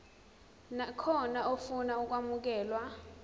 nakhona ofuna ukwamukelwa